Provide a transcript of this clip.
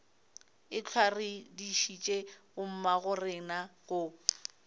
ehlwa re dišitše bommagorena go